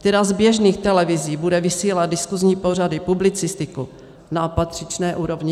Která z běžných televizí bude vysílat diskuzní pořady, publicistiku na patřičné úrovni?